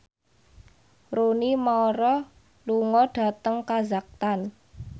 Rooney Mara lunga dhateng kazakhstan